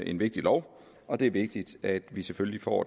en vigtig lov og det er vigtigt at vi selvfølgelig får